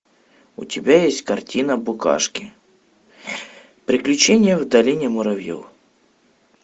у тебя есть картина букашки приключение в долине муравьев